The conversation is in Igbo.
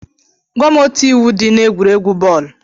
Gwam otu iwu dị n'egwuregwu bọọlụ?